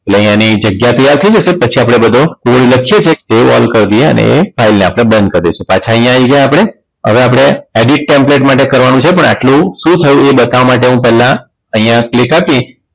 એટલે અહીંયા આની જગ્યા તૈયાર થઈ જશે પછી આપણે બધો code લખીએ છીએ એ all કર દઈએ અને એ file ને આપણે બંધ કરી દઈશું પાછા અહીંયા આવી જઈએ આપણે હવે આપણે edit templete માટે કરવાનું છે પણ આટલું શું થયું એ બતાવવા માટે હું પહેલા અહીંયા click આપીશ